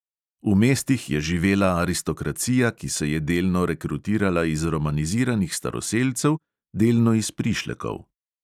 V mestih je živela aristokracija, ki se je delno rekrutirala iz romaniziranih staroselcev, delno iz prišlekov.